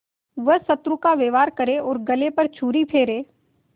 वह शत्रु का व्यवहार करे और गले पर छुरी फेरे